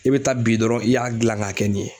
I be taa bi dɔrɔn i y'a gilan ka kɛ nin ye.